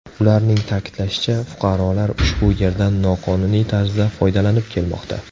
Ularning ta’kidlashicha, fuqarolar ushbu yerdan noqonuniy tarzda foydalanib kelmoqda.